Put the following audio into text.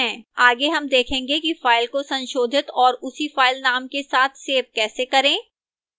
आगे हम देखेंगे कि फाइल को संशोधित और उसी filename के साथ सेव कैसे करें